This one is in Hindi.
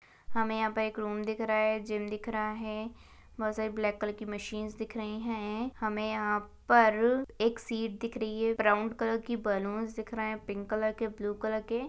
हमें यहाँ पे एक रूम दिख रहा है जिम दिख रहा है बहुत सारी ब्लैक कलर की मशीन्स दिख रही है हमें यहाँ पर एक शीट दिख रही है ब्राउन कलर की बलून्स दिख रहे हैं पिंक कलर के ब्लू कलर के--